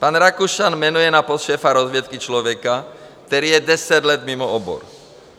Pan Rakušan jmenuje na post šéfa rozvědky člověka, který je deset let mimo obor.